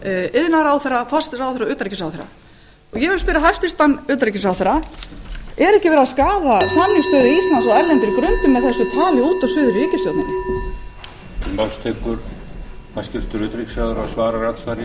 iðnaðarráðherra forsætisráðherra og utanríkisráðherra og ég vil spyrja hæstvirtan utanríkisráðherra er ekki verið að skaða samningsstöðu íslands á erlendri grund með þessu tali út og suður í ríkisstjórninni